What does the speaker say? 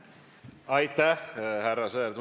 Aitäh, härra Sõerd!